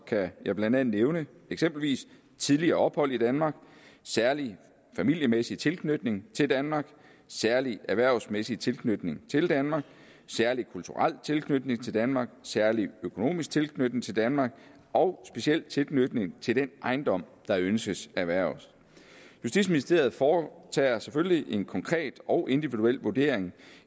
kan jeg blandt andet nævne tidligere ophold i danmark særlig familiemæssig tilknytning til danmark særlig erhvervsmæssig tilknytning til danmark særlig kulturel tilknytning til danmark særlig økonomisk tilknytning til danmark og speciel tilknytning til den ejendom der ønskes erhvervet justitsministeriet foretager selvfølgelig en konkret og individuel vurdering